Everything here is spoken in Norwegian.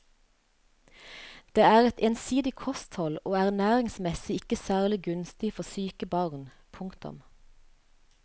Det er et ensidig kosthold og ernæringsmessig ikke særlig gunstig for syke barn. punktum